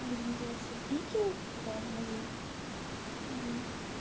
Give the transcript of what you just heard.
будем называется вике типа моей